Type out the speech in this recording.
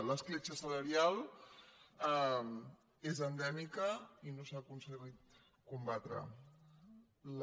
l’escletxa salarial és endèmica i no s’ha aconseguit combatre la